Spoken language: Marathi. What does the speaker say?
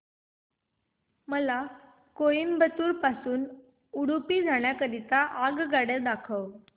मला कोइंबतूर पासून उडुपी जाण्या करीता आगगाड्या दाखवा